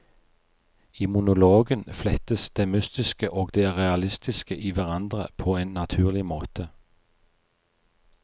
I monologen flettes det mystiske og det realistiske i hverandre på en naturlig måte.